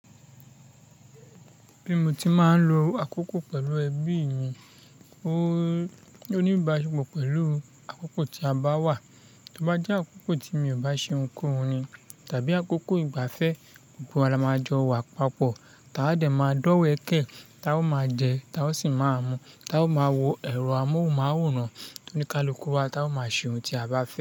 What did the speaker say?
Bí mo ti máa ń lo àkókò pẹ̀lú ẹbí mi, ó ní ìbáṣepọ̀ pẹ̀lú àkókò tí a bá wà. Tí ó bá jẹ́ àkókò tí mi ò bá ṣe ohunkóhun ni tàbí àkókò ìgbafẹ́, gbogbo wa la máa jọ wà papọ̀, táa dẹ̀ ma dọ́wẹ̀kẹ̀, táa máa jẹ, táa sì máa mu, táa máa wo ẹ̀rọ amóhùnmáwòrán tó ní ká lọ kú wa, táa máa ṣe ohun tí a bá fẹ́.